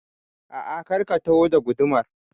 A'a, kar ka taho da gudumar